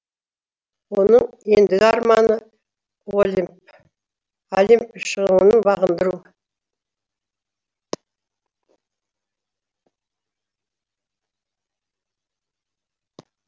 оның ендігі арманы олимп шыңын бағындыру